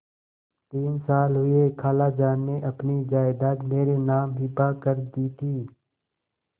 तीन साल हुए खालाजान ने अपनी जायदाद मेरे नाम हिब्बा कर दी थी